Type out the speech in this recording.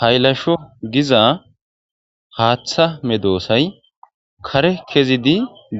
Haylasho giza haaththa medoosay kare kezidi